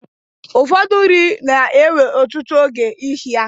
Ụfọdụ nri n'ewe ọtụtụ oge isi ya